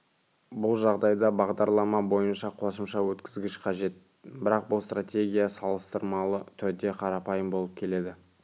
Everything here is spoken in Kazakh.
бұл жағдайда бағдарлама бойынша қосымша өткізгіш қажет бірақ бұл стратегия салыстырмалы түрде қарапайым болып келеді